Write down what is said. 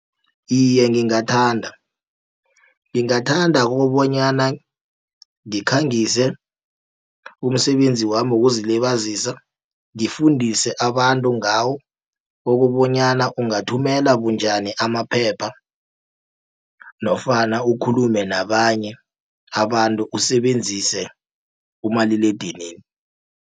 Iye, ngingathanda, ngingathanda kobonyana ngikhangise umsebenzi wami wokuzilibazisa, ngifundise abantu ngawo ukubonyana ungathumela bunjani amaphepha nofana ukhulume nabanye abantu usebenzise umaliledinini.